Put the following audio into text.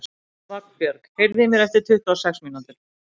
Vagnbjörg, heyrðu í mér eftir tuttugu og sex mínútur.